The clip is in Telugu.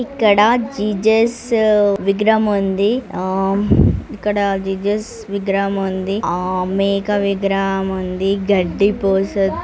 ఇక్కడ జీజేస్ విగ్రహం ఉంది ఆహ్ ఇక్కడ జీజేస్ విగ్రహం ఉంది ఆ మేక విగ్రహం ఉంది గడ్డి పోస--